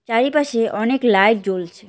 চারিপাশে অনেক লাইট জ্বলছে।